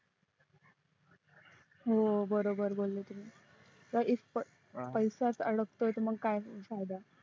हो बरोबर बोलले तुम्ही तरीपण पैसाच अडकतोय तर काय फायदा